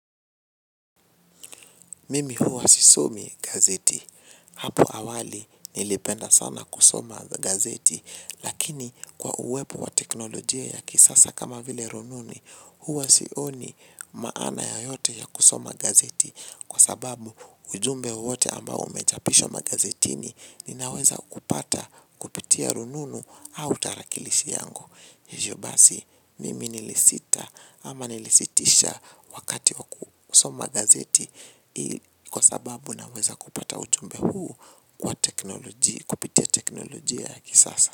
Mimi huwa sisomi gazeti. Hapo awali, nilipenda sana kusoma gazeti. Lakini kwa uwepo wa teknolojia ya kisasa kama vile rununu, huwa sioni maana yeyote ya kusoma gazeti. Kwa sababu ujumbe wote ambao umejapishwa magazetini ninaweza kupata kupitia rununu au tarakilishi yangu. Hivyo basi mimi nilisita ama nilisitisha wakati kwa kusoma gazeti kwa sababu naweza kupata ujumbe huu kwa teknolojia, kupitia teknoloji ya kisasa.